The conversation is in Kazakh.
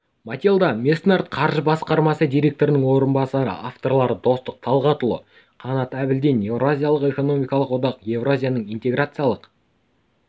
матильда меснард қаржы басқармасы директорының орынбасары авторлары достық талғатұлы қанат әбілдин еуразиялық экономикалық одақ еуразияның интеграциялық